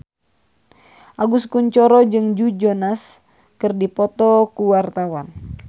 Agus Kuncoro jeung Joe Jonas keur dipoto ku wartawan